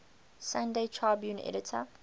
sunday tribune editor